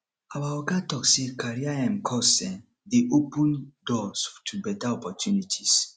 our oga tok sey career um course dey open doors to beta opportunities